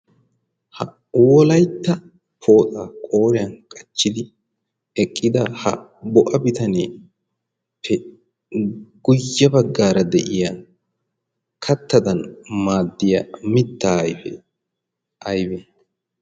ha wolaitta pooxa qooriyan qachchidi eqqida ha bo7a bitanee pe guyye baggaara de'iya kattadan maaddiya mitta ayfee aybee?